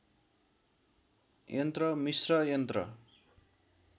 यन्त्र मिस्र यन्त्र